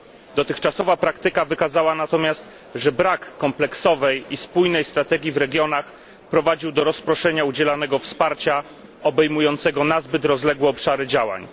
Dotychczasowa praktyka wykazała natomiast, że brak kompleksowej i spójnej strategii w regionach prowadził do rozproszenia udzielanego wsparcia, obejmującego nazbyt rozległe obszary działań.